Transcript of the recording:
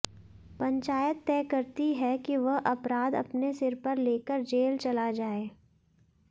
पंचायत तय करती है कि वह अपराध अपने सिर पर लेकर जेल चला जाए